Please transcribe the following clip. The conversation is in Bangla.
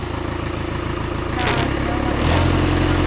না সিনেমা হল যাওয়া হয়নি।